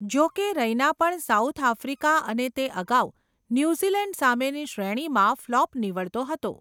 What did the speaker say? જો કે રૈના પણ સાઉથ આફ્રિકા અને તે અગાઉ, ન્યુઝીલેન્ડ સામેની શ્રેણીમાં ફ્લોપ નીવડ્તો હતો.